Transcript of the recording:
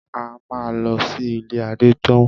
A máa lọ sí ilé Adétóun.